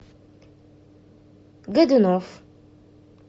годунов